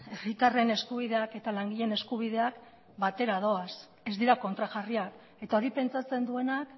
herritarren eskubideak eta langileen eskubideak batera doaz ez dira kontrajarriak eta hori pentsatzen duenak